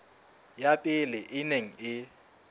ya pele e neng e